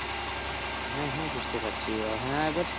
হ্যাঁ হ্যাঁ বুঝতে পারছি ও হ্যাঁ এবার